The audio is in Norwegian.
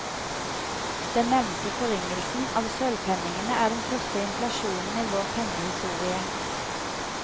Den nevnte forringelsen av sølvpenningene er den første inflasjonen i vår pengehistorie.